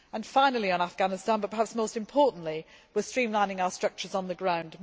Finally on Afghanistan, but perhaps most importantly, we are streamlining our structures on the ground.